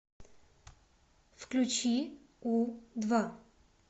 включи у два